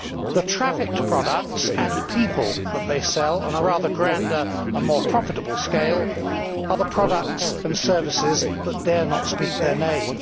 The trafficked products and people that they sell on a grander and more profitable scale are the products and services that dare not speak their name.